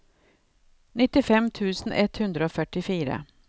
nittifem tusen ett hundre og førtifire